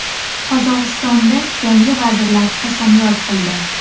Qozog‘istonda yangi vazirlar qasamyod qildi.